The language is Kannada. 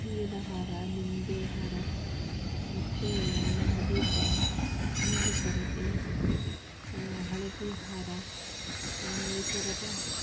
ಹೂವಿನ ಹಾರ ನಿಂಬೆ ಹಾರ ಮತ್ತೇ ದೀಪ ನೀಲಿ ಪರದೆ ಆಹ್ ಹಳದಿ ಹಾರ ಈ ತರದ--